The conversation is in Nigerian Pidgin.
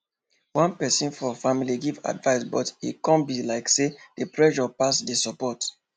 one person for family give advice but e come be like say the pressure pass the support